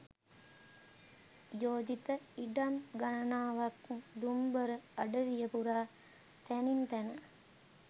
යෝජිත ඉඩම් ගණනාවක් දුම්බර අඩවිය පුරා තැනින් තැන